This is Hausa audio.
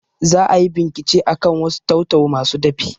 Za ayi bincike akan wasu tau-tau masu dafi